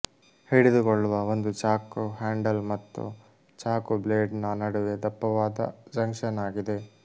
ಹಿಡಿದುಕೊಳ್ಳುವ ಒಂದು ಚಾಕು ಹ್ಯಾಂಡಲ್ ಮತ್ತು ಚಾಕು ಬ್ಲೇಡ್ನ ನಡುವೆ ದಪ್ಪವಾದ ಜಂಕ್ಷನ್ ಆಗಿದೆ